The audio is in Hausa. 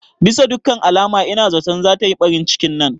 Bisa dukkan alama ina zaton zata yi ɓarin cikin nan